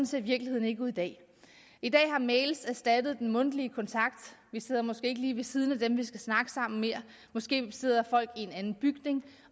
ser virkeligheden ikke ud i dag i dag har mail erstattet den mundtlige kontakt vi sidder måske ikke længere lige ved siden af dem vi skal snakke sammen med måske sidder folk i en anden bygning